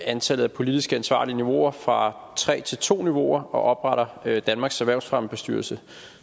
antallet af politisk ansvarlige niveauer fra tre til to niveauer og opretter danmarks erhvervsfremmebestyrelse